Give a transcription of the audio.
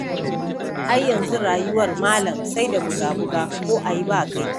Ai yanzu rayuwar malam sai da buga-buga ko a yi ba kai.